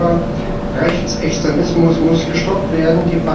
Der Urheberrechtsextremismus muss gestoppt werden.